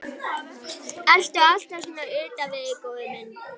Ertu alltaf svona utan við þig, góði minn?